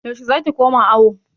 Yaushe za ki koma awo?